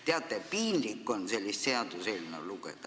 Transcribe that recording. Teate, piinlik on sellist seaduseelnõu lugeda.